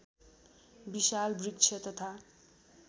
विशाल वृक्ष तथा